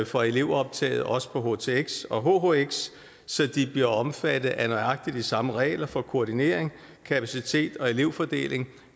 for elevoptaget også på htx og hhx så de bliver omfattet af nøjagtig de samme regler for koordinering kapacitet og elevfordeling